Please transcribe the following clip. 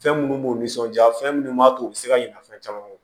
Fɛn minnu b'u nisɔndiya fɛn minnu b'a to u bɛ se ka ɲina fɛn caman kɔ